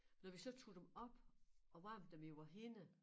Når vi så tog dem op og varmede dem i vor hænder